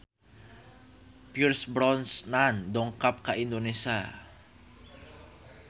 Pierce Brosnan dongkap ka Indonesia